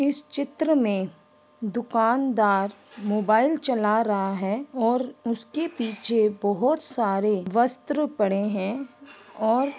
इस चित्र में दुकानदार मोबाइल चला रहा है और उसके पीछे बहुत सारे वस्त्र पड़े है और